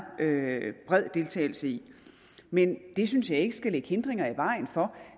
bred deltagelse i men det synes jeg ikke skal lægge hindringer i vejen for